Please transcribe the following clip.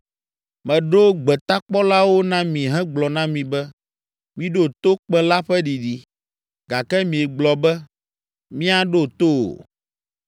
Meɖo gbetakpɔlawo na mi hegblɔ na mi be, ‘Miɖo to kpẽ la ƒe ɖiɖi!’ Gake miegblɔ be, ‘Míaɖo to o.’